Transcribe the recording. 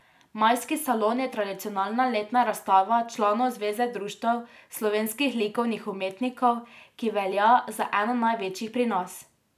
Majski salon je tradicionalna letna razstava članov Zveze društev slovenskih likovnih umetnikov, ki velja za eno največjih pri nas.